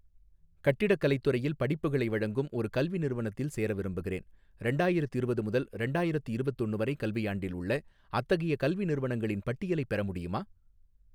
கட்டிடக்கலைத் துறையில் படிப்புகளை வழங்கும் ஒரு கல்வி நிறுவனத்தில் சேர விரும்புகிறேன், ரெண்டாயிரத்திரவது முதல் ரெண்டாயிரத்தி இரவத்தொன்னு வரை கல்வியாண்டில் உள்ள அத்தகைய கல்வி நிறுவனங்களின் பட்டியலைப் பெற முடியுமா?